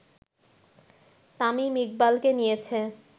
তামিম ইকবালকে নিয়েছে